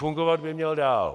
Fungovat by měl dál.